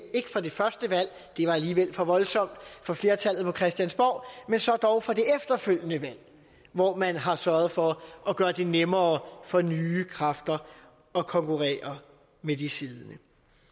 ikke for det første valg det var alligevel for voldsomt for flertallet på christiansborg men så dog for det efterfølgende valg hvor man har sørget for at gøre det nemmere for nye kræfter at konkurrere med de siddende